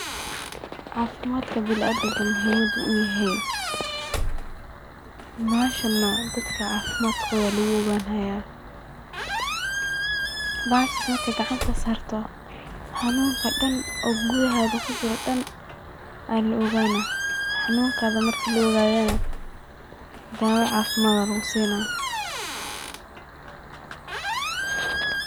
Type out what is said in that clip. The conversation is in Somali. Cafimadka bina adamant muhimad u yehe, meshahana in dadka cafimad koda lagu o gan gaya, bahashas marka gacanta sarto nanunka dan oo gudahaga kujiro o dan alaogana, xanunkada marki laogadona dawa cafimad alagusina